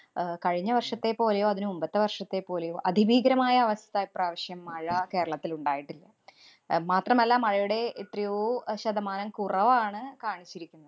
ആഹ് കഴിഞ്ഞ വര്‍ഷത്തേപ്പോലെയോ, അതിനു മുമ്പത്തെ വര്‍ഷത്തേ പ്പോലെയോ അതിഭീകരമായ അവസ്ഥ ഇപ്രാവശ്യം മഴ കേരളത്തില്‍ ഉണ്ടായിട്ടില്ല. അഹ് മാത്രമല്ല, മഴയുടെ എത്രയോ അഹ് ശതമാനം കുറവാണ് കാണിച്ചിരിക്കുന്നെ.